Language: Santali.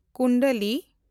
ᱠᱩᱱᱰᱟᱞᱤ